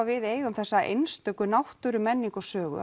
við eigum þessa einstöku náttúru menningu og sögu